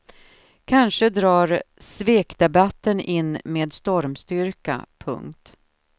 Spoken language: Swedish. Kanske drar svekdebatten in med stormstyrka. punkt